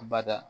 Bada